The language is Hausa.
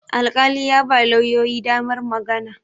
alƙali ya ba lauyoyi damar magana